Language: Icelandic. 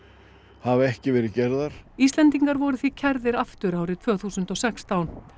hafa ekki verið gerðar Íslendingar voru því kærðir aftur árið tvö þúsund og sextán